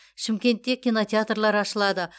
шымкентте кинотеатрлар ашылады